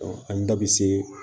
an da bɛ se